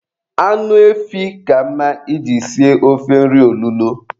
Anụ efi ka mma I ji sie ofe nri olulo.